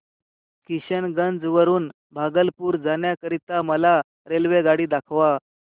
किशनगंज वरून भागलपुर जाण्या करीता मला रेल्वेगाडी दाखवा